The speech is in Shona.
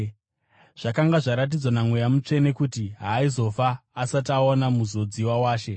Zvakanga zvaratidzwa naMweya Mutsvene kuti haaizofa asati aona Muzodziwa waShe.